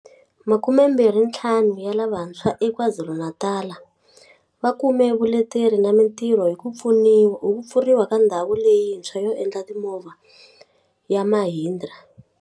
Makumembirhintlhanu ya lavantshwa eKwaZulu-Natal va kume vuleteri na mitirho hi ku pfuriwa ka ndhawu leyintshwa yo endla timovha ya Mahindra.